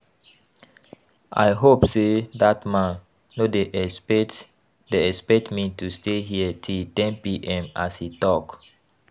I hope say dat man no dey expect dey expect me to stay here till ten pm as he talk